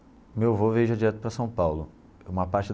O meu avô veio já direto para São Paulo uma parte.